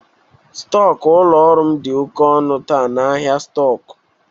Stọk ụlọ ọrụ m dị oke ọnụ taa n'ahịa stọk.